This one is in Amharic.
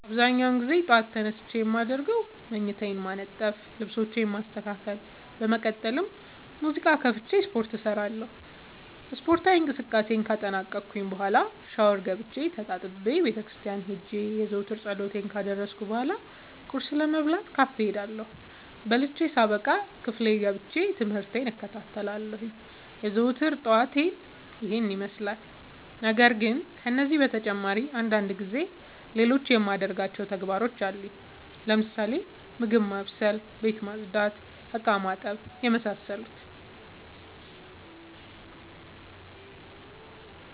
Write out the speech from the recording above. አብዛኛውን ግዜ ጠዎት ተነስቼ የማደርገው መኝታዬን ማነጠፍ ልብሶቼን ማስተካከል በመቀጠልም ሙዚቃ ከፍቼ ስፓርት እሰራለሁ ስፓርታዊ እንቅስቃሴን ካጠናቀቅኩ በኋ ሻውር ገብቼ ተጣጥቤ ቤተክርስቲያን ሄጄ የዘወትር ፀሎቴን ካደረስኩ በሏ ቁርስ ለመብላት ካፌ እሄዳለሁ። በልቼ ሳበቃ ክፍል ገብቼ። ትምህርቴን እከታተላለሁ። የዘወትር ጠዋቴ ይህን ይመስላል። ነገርግን ከነዚህ በተጨማሪ አንዳንድ ጊዜ ሌሎቹ የማደርጋቸው ተግባሮች አሉኝ ለምሳሌ፦ ምግብ ማብሰል፤ ቤት መፅዳት፤ እቃማጠብ የመሳሰሉት።